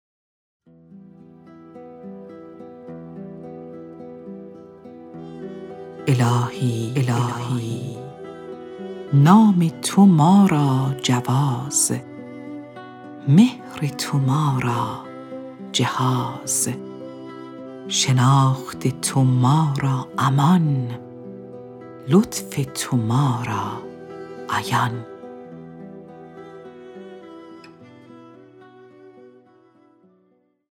الهی نام تو ما را جواز مهر تو ما را جهاز شناخت تو ما را امان لطف تو ما را عیان